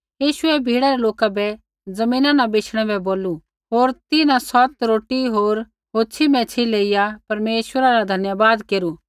यीशुऐ भीड़ै रै लोका बै ज़मीना न बैशणै बै बोलू होर तिन्हां सौत रोटी होर होछ़ी मैच्छ़ी लेइया परमेश्वरा रा धन्यवाद केरू